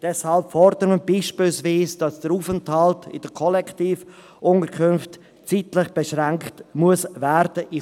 Deshalb fordern wir beispielsweise, dass der Aufenthalt in den Kollektivunterkünften zeitlich beschränkt werden muss.